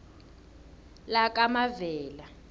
lakamavela